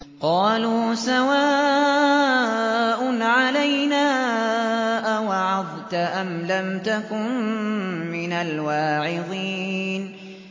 قَالُوا سَوَاءٌ عَلَيْنَا أَوَعَظْتَ أَمْ لَمْ تَكُن مِّنَ الْوَاعِظِينَ